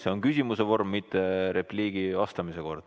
See on küsimuse vorm, mitte repliigi ega vastamise kord.